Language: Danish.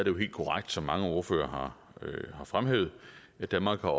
jo helt korrekt som mange ordførere har fremhævet at danmark har